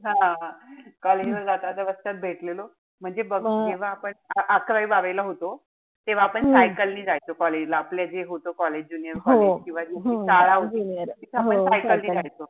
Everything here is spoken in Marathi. हा. College ला जाता-जाता रस्त्यात भेटलेलो. म्हणजे बघ जेव्हा आपण अकरावी-बारावी ला होतो. तेव्हा आपण cycle नि जायचो college ला. आपलं जे होत college junior college किंवा जी शाळा होती त आपण cycle ने जायचो.